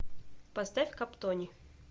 поставь каптони